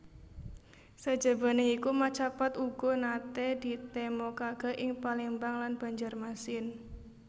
Sajabané iku macapat uga naté ditemokaké ing Palembang lan Banjarmasin